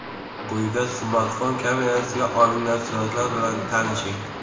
Quyida smartfon kamerasiga olingan suratlar bilan tanishing.